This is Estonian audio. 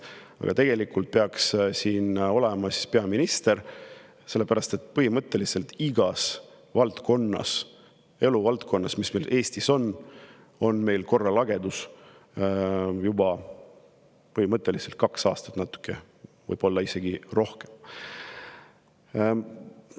Aga tegelikult peaks siin seisma peaminister, sellepärast et igas eluvaldkonnas, mis meil Eestis on, on korralagedus põhimõtteliselt olnud juba kaks aastat, võib-olla isegi natuke kauem aega.